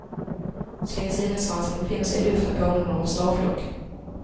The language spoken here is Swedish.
Så länge sidensvansarna befinner sig i luften påminner de om en starflock.